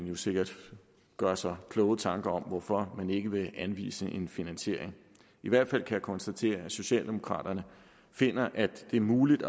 jo sikkert gøre sig kloge tanker om hvorfor man ikke vil anvise en finansiering i hvert fald kan jeg konstatere at socialdemokraterne finder at det er muligt